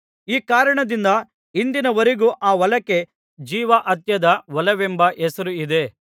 ಈ ಕಾರಣದಿಂದ ಇಂದಿನವರೆಗೂ ಆ ಹೊಲಕ್ಕೆ ಜೀವಹತ್ಯದ ಹೊಲವೆಂಬ ಹೆಸರು ಇದೆ